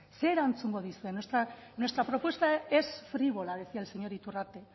zer erantzungo duzue nuestra propuesta es frívola decía el señor iturrate